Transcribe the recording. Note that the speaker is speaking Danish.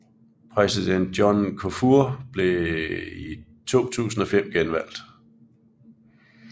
Præsident John Kufour blev i 2005 genvalgt